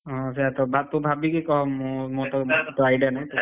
ହଁ ଯାହା ଦବା ତୁ ଭାବୁଇକି କହ ମୁଁ ମୋର ତ idea ନାହିଁ